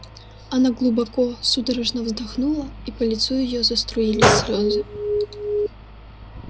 она глубоко судорожно вздохнула и по лицу её заструились слезы